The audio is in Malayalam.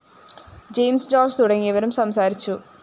ജയിംസ് ജോര്‍ജ്ജ് തുടങ്ങിയവരും സംസാരിച്ചു